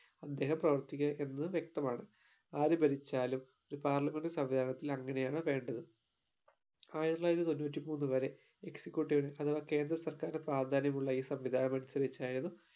അദ്ദേഹം പ്രവർത്തിക്കുക എന്നത് വ്യക്തമാണ് ആര് ഭരിച്ചാലും ഒരു പാർലമെൻറ് സംവിധാനത്തിൽ അങ്ങനെയാണ് വേണ്ടത് ആയിരത്തി തൊള്ളായിരത്തി തൊണ്ണൂറ്റി മൂന്ന് വരെ executive ന് അഥവാ കേന്ദ്ര സർക്കാറിന്റെ പ്രാധാന്യമുള്ള ഈ സംവിധാനം അനുസരിച്ചായിരുന്നു.